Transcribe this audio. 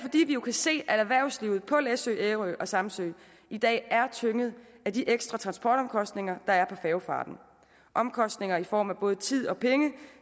jo kan se at erhvervslivet på læsø ærø og samsø i dag er tynget af de ekstra transportomkostninger der er på færgefarten omkostninger i form af både tid og penge